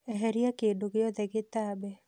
Eheria kĩndũ gĩothe gĩtambe